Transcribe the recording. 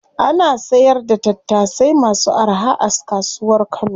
Ana sayar da tattasai masu araha a kasuwar kano.